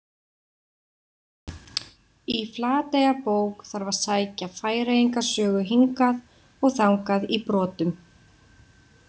Í Flateyjarbók þarf að sækja Færeyinga sögu hingað og þangað í brotum.